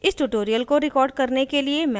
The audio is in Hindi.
इस tutorial को record करने के लिए मैं उपयोग कर रही हूँ